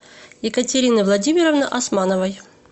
екатерины владимировны османовой